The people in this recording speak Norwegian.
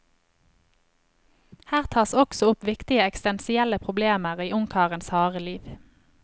Her tas også opp viktige eksistensielle problemer i ungkarens harde liv.